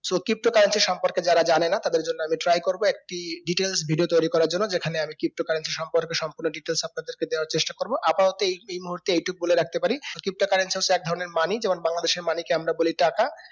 so crypto currency সম্পর্কে যারা জানেনা তাদের জন্য আমি try করবো একটি details video তৈরি করার জন্য যেকানে আমি crypto currency সম্পর্কে সম্পূর্ণ details আপনাদের কে দেওয়ার চেষ্টা করবো আপাততো এই এই মুহূর্তে এই টুকু বলে রাখতে পারি crypto currency হচ্ছে এক ধরণের money যেমন বাংলাদেশর money কে আমরা বলি টাকা